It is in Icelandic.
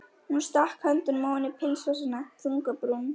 Hún stakk höndunum ofan í pilsvasana, þung á brún.